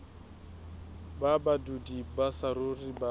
ba badudi ba saruri ba